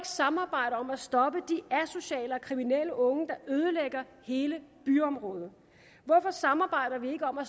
samarbejde om at stoppe de asociale og kriminelle unge der ødelægger hele byområder hvorfor samarbejder vi ikke om at